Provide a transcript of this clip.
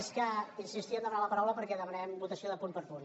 sí insistia en demanar la paraula perquè demanarem votació de punt per punt